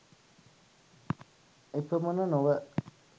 එපමණ නොව